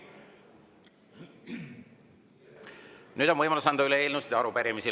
Nüüd on võimalus anda üle eelnõusid ja arupärimisi.